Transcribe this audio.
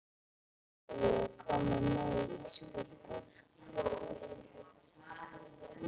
Viljiði koma með í ísbíltúr?